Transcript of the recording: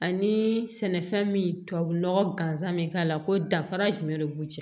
Ani sɛnɛfɛn min tubabunɔgɔ gansan bɛ k'a la ko danfara jumɛn de b'u cɛ